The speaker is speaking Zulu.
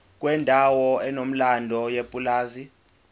kwendawo enomlando yepulazi